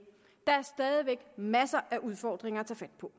der er stadig væk masser af udfordringer at tage fat på